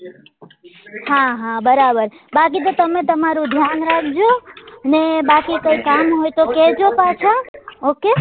હા હા બરાબર બાકી તો તમે તમારું ધ્યાન રાખજો ને બાકી કઈ કામ હોય તો કેજો પાછા okay